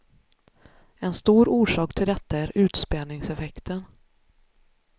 En stor orsak till detta är utspädningseffekten.